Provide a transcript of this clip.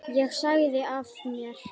Ég sagði af mér.